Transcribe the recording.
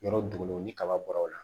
Yɔrɔ dugun ni kaba bɔra o la